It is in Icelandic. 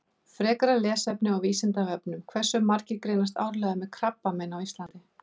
Frekara lesefni á Vísindavefnum: Hversu margir greinast árlega með krabbamein á Íslandi?